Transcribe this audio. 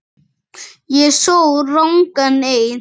Ég sór rangan eið.